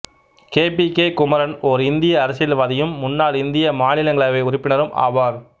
K P K Kumaran ஓர் இந்திய அரசியல்வாதியும் முன்னாள் இந்திய மாநிலங்களவை உறுப்பினரும் ஆவார்